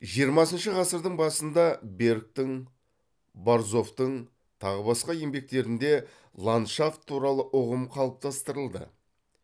жиырмасыншы ғасырдың басында бергтің борзовтың тағы басқа еңбектерінде ландшафт туралы ұғым қалыптастырылды